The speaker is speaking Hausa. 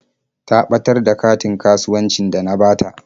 Ta ɓatar da katin kasuwancin da na bata.